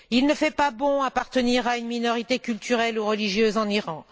Il ne fait pas bon appartenir à une minorité culturelle ou religieuse en Iran.